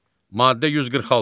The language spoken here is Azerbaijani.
Maddə 146.